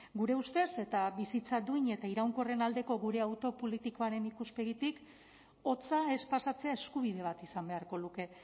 gure ustez eta bizitza duin eta iraunkorren aldeko gure autu politikoaren ikuspegitik hotza ez pasatzea eskubide bat izan beharko luke